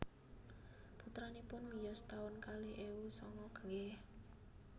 Putranipun miyos taun kalih ewu sanga nggih